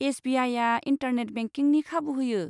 एस.बि.आइआ. Internet बेंकिंनि खाबु होयो।